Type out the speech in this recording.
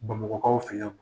Bamakɔkaw fɛ yan.